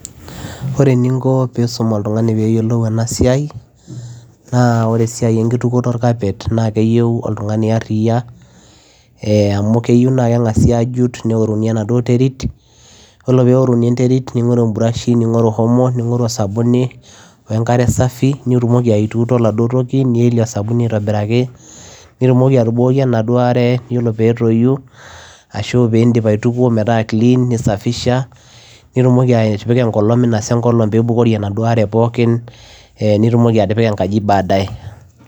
Oree eninko peyiee iisum oltunganii peyiee eyilou ena siai naa oree esiai enkitukuto orkapet naa keyiuo oltunganii aariyiaa amuu keyieu naa kengasii ajut neworii enterit ning'oruu brush omo sabuni enkare safii niutuut aatobirakii nibukokii enaduo are oree peyiee etoyuu nipik enkolong peyiee ibukorii enaduoo are pookin nipik ade ankaji